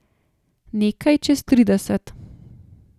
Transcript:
Nekaj čez trideset.